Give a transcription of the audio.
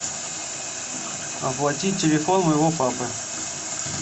оплати телефон моего папы